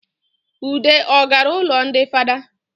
Ude ọ gara ụlọ ndị fada?